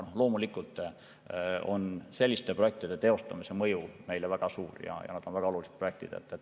Loomulikult on selliste projektide teostamise mõju meile väga suur ja need on väga olulised projektid.